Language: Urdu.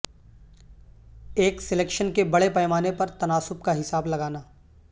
ایک سلیکشن کے بڑے پیمانے پر تناسب کا حساب لگانا